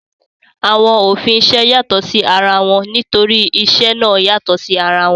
Àwọn òfin isẹ́ yàtọ̀ sí ara wọn nítorí isẹ́ náà yàtọ̀ sí ara wọn